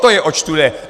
To je, oč tu jde!